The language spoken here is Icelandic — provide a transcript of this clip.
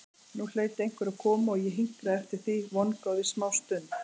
Nú hlaut einhver að koma og ég hinkraði eftir því vongóð í smástund.